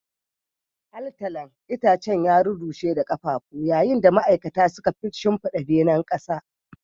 Altalan itacen ya rurrushe da ƙafafu, yayin da ma'aikata suka shimfiɗa benen ƙasa.